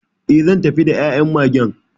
E, zan tafi da ya'yan Magen '..